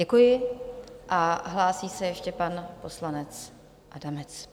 Děkuji a hlásí se ještě pan poslanec Adamec.